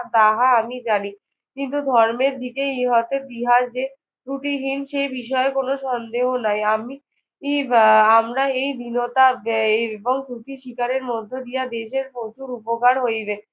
তাহা আমি জানি। কিন্তু ধর্মের দিকে ইহাতে বিহার যে ত্রুটিহীন সে বিষয়ে কোনো সন্দেহ নাই। আমি বা আমরা এই দীনতা ব্যয়ের এবং ত্রুটি স্বীকারের মধ্য দিয়া দেশের প্রচুর উপকার হইবে।